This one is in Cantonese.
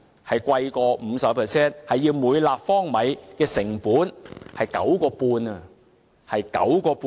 是高於 50%， 每立方米的成本是 9.5 元，是 9.5 元。